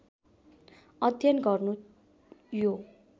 अध्ययन गर्नु यो